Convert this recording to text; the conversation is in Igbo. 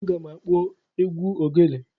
Aga m akpọ egwu ogele.